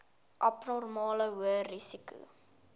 abnormale hoë risiko